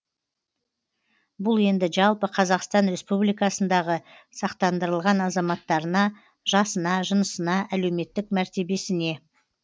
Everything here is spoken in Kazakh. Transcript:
бұл енді жалпы қазақстан республикасындағы сақтандырылған азаматтарына жасына жынысына әлеуметтік мәртебесіне